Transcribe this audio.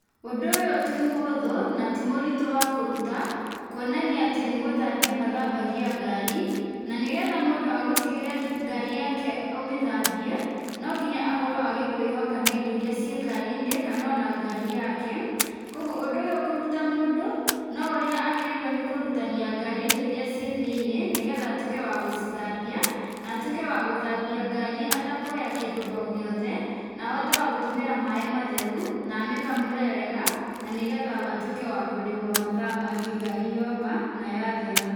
Ũndũ ũyũ tĩ mũhũthũ na ti mũrĩtũ wa kũrũta kuonania atĩ nĩ gũthambia mathambagia ngari na nĩgetha mũndũ agũtigĩre ngari yake ũmĩthambie no nginya akorwo agĩkwĩhoka na indo irĩa cĩ ngari-inĩ kana o na ngari yake, kogwo ũndũ ũyũ kũrũta mũndũ no ũrĩa agĩrĩirwo nĩ kũrutania ngari indo irĩa cĩ thĩiniĩ nĩgetha atuĩke wa gũcithambia na atuĩke wa gũthambia ngari atekuoya kĩndũ o gĩothe na ahote wa gũtũmĩra maaĩ matheru na amĩkamũre wega na nĩgetha atũĩke wa kũrĩhwo mathaa mangĩ ngari yoma na yathera.